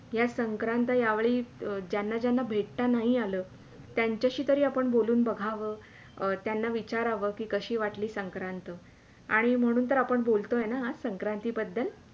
या संक्रांत या वेळी ज्यांना -ज्यांना भेटता नाही आल त्यांच्याशी तरी आपण बोलून बघावं त्यांना विचाराव कि कशी वाटली संक्रांत आणि म्हणून तर आपण आज बोलतोय ना आज संक्रांती बद्दल